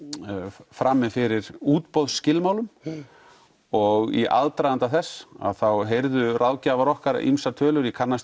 frammi fyrir útboðsskilmálum og í aðdraganda þess heyrðu ráðgjafar okkar ýmsar tölur ég kannast